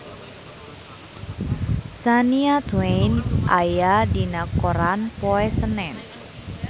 Shania Twain aya dina koran poe Senen